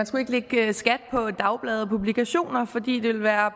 skulle lægge skat på dagblade og publikationer fordi det ville være